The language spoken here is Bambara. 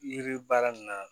Yiri baara min na